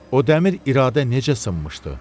O dəmir iradə necə sınmışdı?